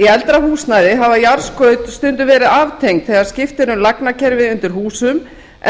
í eldra húsnæði hafa jarðskaut stundum verið aftengd þegar skipt er um lagnakerfi undir húsum